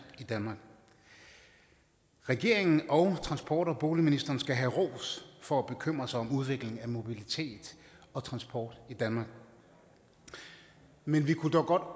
i danmark regeringen og transport bygnings og boligministeren skal have ros for at bekymre sig om udviklingen af mobilitet og transport i danmark men vi kunne dog godt